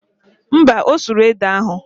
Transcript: Mba, ọ sụrụ ede ahụ